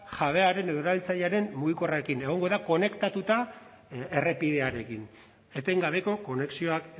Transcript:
jabearen edo erabiltzailearen mugikorrarekin egongo da konektatuta errepidearekin etengabeko konexioak